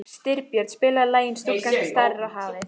Styrbjörn, spilaðu lagið „Stúlkan sem starir á hafið“.